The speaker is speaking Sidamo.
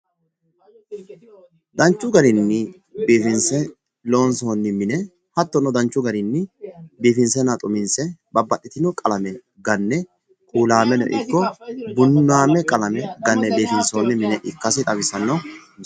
danchu garinni biifinse loonsoonni mine hattono danchu garinni biifinsenna xuminse babbaxxitino qalame ganne kuulaameno ikko bunnaameno ganne biifinsoonni mine ikkasi xawissanno misileeti.